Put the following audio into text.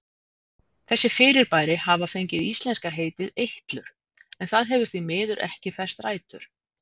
Þessi fyrirbæri hafa fengið íslenska heitið eitlur en það hefur því miður ekki fest rætur.